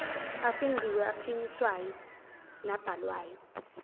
afingqiwe aphinyiswayo nabhalwayo